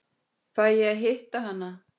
Fæ ég að hitta hana?